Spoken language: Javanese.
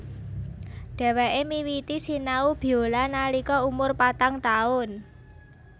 Dhèwèké miwiti sinau biola nalika umur patang taun